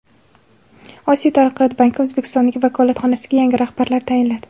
Osiyo taraqqiyot banki O‘zbekistondagi vakolatxonasiga yangi rahbar tayinladi.